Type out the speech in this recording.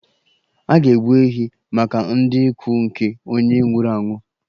A ga-egbu ehi maka ndị ikwu nke onye nwụrụ anwụ